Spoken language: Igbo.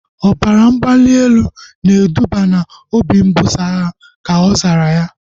Ọbara mgbali elu na eduba na obi mbuso agha, ka ọ zara